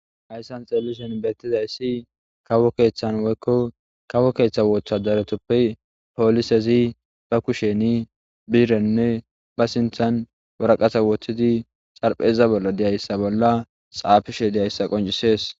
Hayssan xelishen beettida issi kawo keeththan woykko kawo keeththa wooththadaretoppe poolisezi ba kusheni biirenne ba sinthan waraqasa wotidi xarpheza bolla deyayssa bolla xaafishe deyayssa qoncisees.